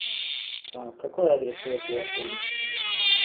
какой адрес у этого отеля